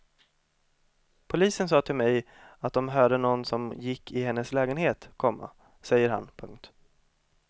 Polisen sa till mig att de hörde någon som gick i hennes lägenhet, komma säger han. punkt